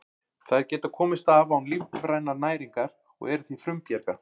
Þær geta komist af án lífrænnar næringar og eru því frumbjarga.